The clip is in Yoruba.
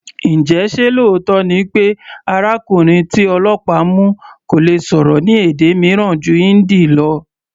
Njẹ ṣé lóòótọ́ ni pé arákùnrin tí ọlọ́pàá mu kò lè sọ̀rọ̀ ní èdè mìíràn ju Hindi lọ?